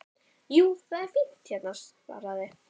Jú, það er fínt hérna svaraði